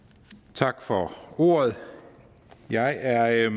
tak for ordet jeg er